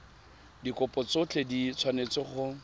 dikopo tsotlhe di tshwanetse go